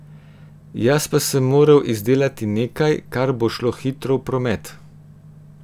Jaz pa sem moral izdelati nekaj, kar bo šlo hitro v promet.